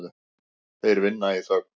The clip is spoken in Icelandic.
Þeir vinna í þögn.